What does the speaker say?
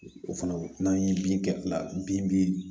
O fana n'an ye bin kɛla bin